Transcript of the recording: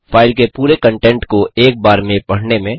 file के पूरे content को एक बार में पढने में